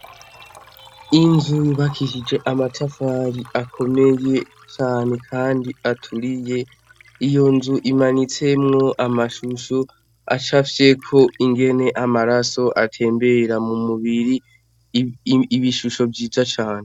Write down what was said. Inzu yubakishije amatafari akomeye cane kandi aturiye, iyo nzu imanitsemwo amashusho acafyeko ingene amaraso atembera mu mubiri, ibishusho vyiza cane.